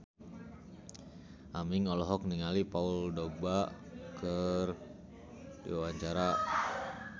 Aming olohok ningali Paul Dogba keur diwawancara